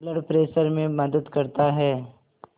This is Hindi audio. ब्लड प्रेशर में मदद करता है